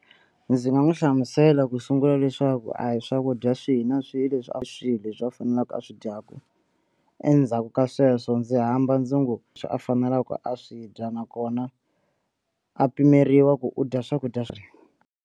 Ndzi nga n'wi hlamusela ku sungula leswaku a hi swakudya swihi na swihi leswi a hi swihi leswi a faneleke a swi dyaka endzhaku ka sweswo ndzi hamba ndzi a faneleke a swi dya nakona a pimeriwa ku u dya swakudya swa.